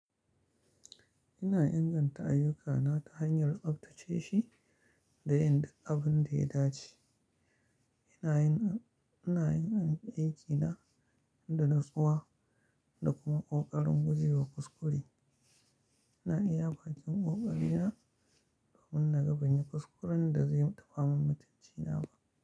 Ina inganta ayyukana ta hanyar tsaftace shi da inda abin da ya dace. Ina yin aiki na da natsuwa da kuma ƙoƙarin guje wa kuskure. Ina iya bakin ƙoƙari na domin na ga ban yi kuskuren da zai taɓa min mutunci na ba.